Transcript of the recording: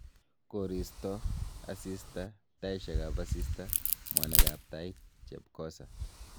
Koristo/Asista, taisiekab asista, mwanik ab tait, chepkosa